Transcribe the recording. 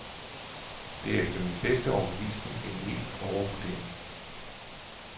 Det er efter min bedste overbevisning en mild overvurdering.